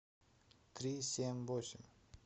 три семь восемь